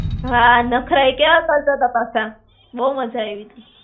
હાં, નખરા એ કેવા કરતા તા પાછા? બહું મજા આયવી તી.